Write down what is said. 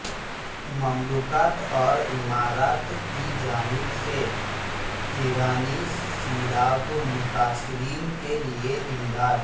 مملکت اور امارات کیجانب سے ایرانی سیلاب متاثرین کیلئے امداد